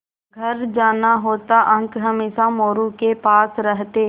घर जाना होता अंक हमेशा मोरू के पास रहते